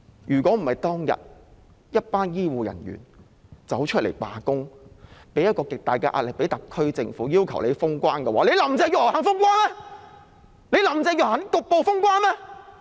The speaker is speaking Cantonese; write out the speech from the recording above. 若非當天一群醫護人員出來罷工，向特區政府大力施壓，要求封關，林鄭月娥肯封關嗎？